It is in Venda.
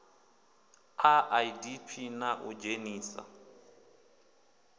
a idp na u dzhenisa